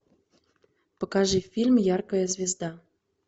покажи фильм яркая звезда